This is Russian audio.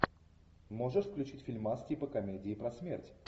можешь включить фильмас типа комедии про смерть